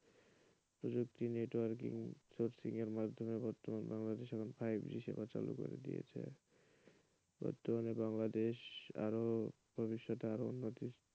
প্রযুক্তি networking এবং sourcing মাধ্যমে বাংলাদেশে বর্তমানে ফাইভ-জি সেবা চালু করে দিয়েছে বর্তমানে বাংলাদেশে আরও ভবিষ্যতে আরও উন্নতির,